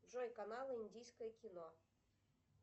джой канал индийское кино